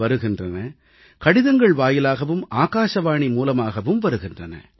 in வருகின்றன கடிதங்கள் வாயிலாகவும் ஆகாசவாணி மூலமாகவும் வருகின்றன